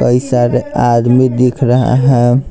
कई सारे आदमी दिख रहा है।